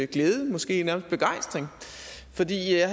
glæde måske nærmest begejstring fordi jeg